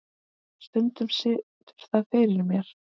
Stundum situr það fyrir mér.